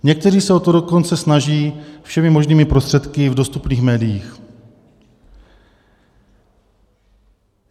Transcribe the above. Někteří se o to dokonce snaží všemi možným prostředky v dostupných médiích.